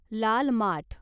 लाल माठ